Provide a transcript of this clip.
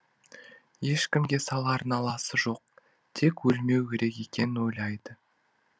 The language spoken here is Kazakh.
ешкімге салар наласы жоқ тек өлмеу керек екенін ойлайды